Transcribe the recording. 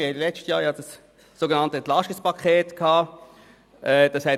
Im letzten Jahr hatten wir das sogenannte EP zu beraten.